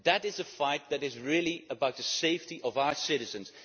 That is a fight that is really about the safety of our citizens.